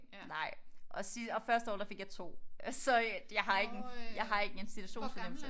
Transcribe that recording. Nej og første år der fik jeg 2 så øh jeg har ikke en jeg har ikke en situationsfornemmelse